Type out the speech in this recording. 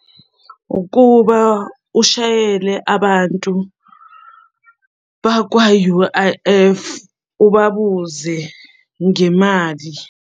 Ukuba ushayele abantu bakwa-U_I_F ubabuze ngemali.